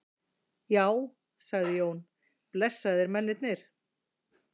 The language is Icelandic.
Já, sagði Jón, blessaðir mennirnir.